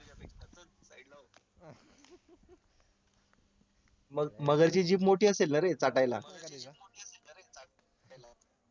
मगरची जीभ मोठी असेल ना रे चाटायला